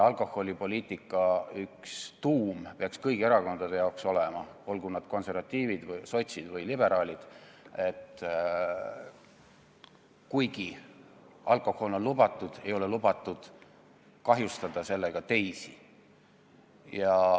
Alkoholipoliitika üks tuumi peaks kõigi erakondade jaoks olema see, olgu nad konservatiivid või sotsid või liberaalid, et kuigi alkohol on lubatud, ei ole lubatud kahjustada sellega teisi.